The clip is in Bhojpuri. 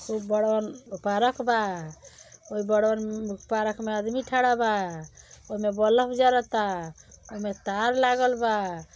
उ बड़वन पारक ओहि बड़वन पारक अदमी थड़ा बा ओहिमें बलफ जरता ओहिमें तार लागलबा।